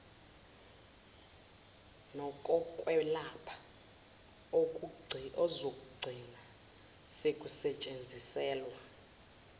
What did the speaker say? nokokwelapha okuzogcina sekusetshenziselwa